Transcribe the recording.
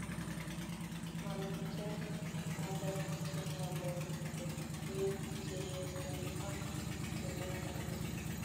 Mamiten ngalek chengololse biik cheyosen ak chemengech